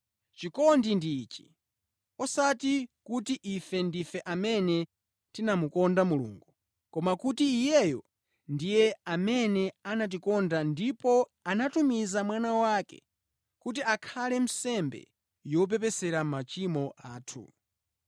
Chikondi ndi ichi: osati kuti ife ndife amene tinamukonda Mulungu, koma kuti Iyeyo ndiye amene anatikonda ndipo anatumiza Mwana wake kuti akhale nsembe yopepesera machimo athu.